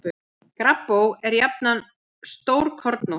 Gabbró er jafnan stórkornótt.